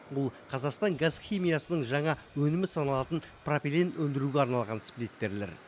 бұл қазақстан газ химиясының жаңа өнімі саналатын пропилен өндіруге арналған сплиттерлер